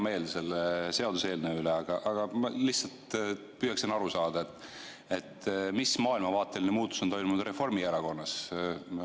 Mul on hea meel selle seaduseelnõu üle, aga ma lihtsalt püüan aru saada, mis maailmavaateline muutus on toimunud Reformierakonnas.